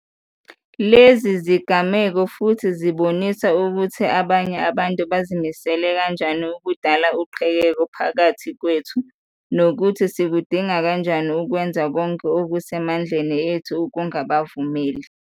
Lezi zigameko futhi zibonisa ukuthi abanye abantu bazimisele kanjani ukudala uqhekeko phakathi kwethu, nokuthi sikudinga kanjani ukwenza konke okuse mandleni ethu ukungabavumeli.